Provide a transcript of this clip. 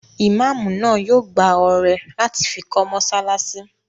Imáamù náà yóò gbá ọrẹ láti fi kọ́ mọ́sálásí